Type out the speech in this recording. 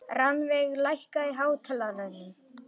Rannveig, lækkaðu í hátalaranum.